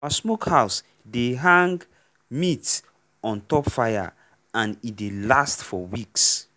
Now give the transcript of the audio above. our smokehouse dey hang meat on top fire and e dey last for weeks.